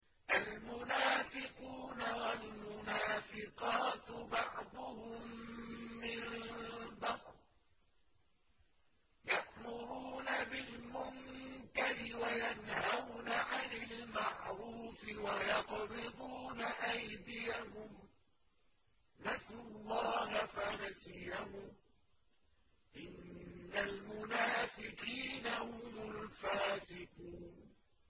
الْمُنَافِقُونَ وَالْمُنَافِقَاتُ بَعْضُهُم مِّن بَعْضٍ ۚ يَأْمُرُونَ بِالْمُنكَرِ وَيَنْهَوْنَ عَنِ الْمَعْرُوفِ وَيَقْبِضُونَ أَيْدِيَهُمْ ۚ نَسُوا اللَّهَ فَنَسِيَهُمْ ۗ إِنَّ الْمُنَافِقِينَ هُمُ الْفَاسِقُونَ